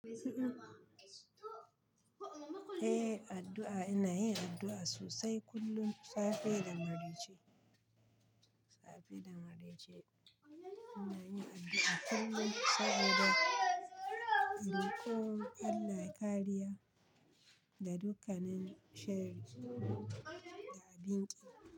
Eh addu'a ina yin addu'a sosai kullum safe da marece, safe da marece. Ina yin addu'a kullum saboda roƙon Allah kariya ga dukkanin sharri da abin ƙi.